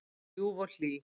Hún var ljúf og hlý.